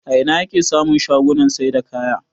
A ina ake samun shagunan saida kaya?